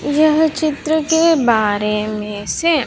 यह चित्र के बारे में से--